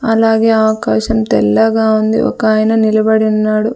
అలాగే ఆకాశం తెల్లగా ఉంది ఒకాయన నిలబడి ఉన్నాడు.